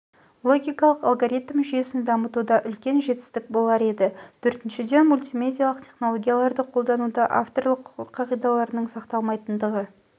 логикалық алгоритм жүйесін дамытуда үлкен жетістік болар еді төртіншіден мультимедиалық технологияларды қолдануда авторлық құқық қағидаларының сақталмайтындығы